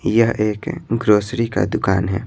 यह एक ग्रोसरी का दुकान है।